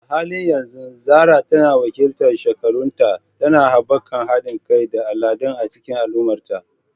A halin yanzu Zarah tana wakiltar shekarunta, tana haɓaka haɗin kai da al'ada a cikin al'ummarta.